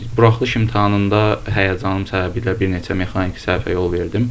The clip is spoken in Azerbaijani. Buraxılış imtahanında həyəcanım səbəbiylə bir neçə mexaniki səhvə yol verdim.